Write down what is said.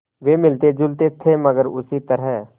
वे मिलतेजुलते थे मगर उसी तरह